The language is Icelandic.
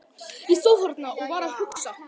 Ég stóð þarna og var að hugsa.